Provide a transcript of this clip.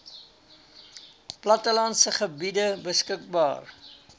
plattelandse gebiede beskikbaar